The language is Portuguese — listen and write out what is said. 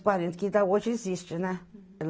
e quarenta, que ainda hoje existe, né?